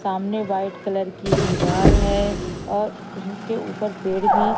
सामने white colour की दीवाल है और उसके ऊपर पेड़ भी--